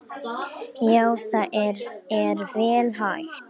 Já það er vel hægt.